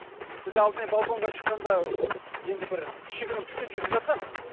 біз алдымен балконға шыққанда енді бір кішігірім түтін шығып жатқан